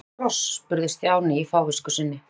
Af hverju kross? spurði Stjáni í fávisku sinni.